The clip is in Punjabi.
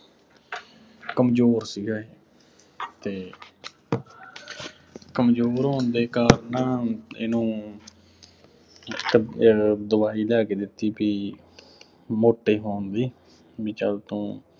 ਕਮਜ਼ੋਰ ਸ਼ੀਗਾ ਇਹ ਅਤੇ ਕਮਜ਼ੋਰ ਹੋਣ ਦੇ ਕਾਰਨ ਨਾ ਇਹਨੂੰ ਇੱਕਅਹ ਦਵਾਈ ਲੈ ਕੇ ਦਿੱਤੀ ਸੀ, ਮੋਟੇ ਹੋਣ ਦੀ, ਬਈ ਚੱਲ ਤੂੰ